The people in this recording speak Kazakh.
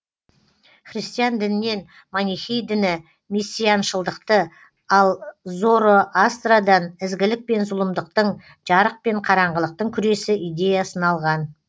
христиан дінінен манихей діні мессианшылдықты ал зороастрадан ізгілік пен зұлымдықтың жарық пен қараңғылықтың күресі идеясын алған